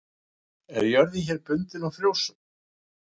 En jörðin hér er bundin og frjósöm.